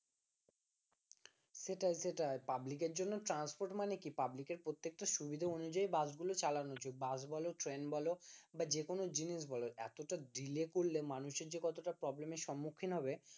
সেটাই সেটাই পাবলিকের জন্য transport মানে কি পাবলিকের প্রত্যেকটা সুবিধা অনুযায়ী বাসগুলো চালানোর জন্য, বাস বলো ট্রেন বলো বা যে কোন জিনিস বলো এতটা delay করলে মানুষের যে কতটা problem এর সম্মুখীন হবে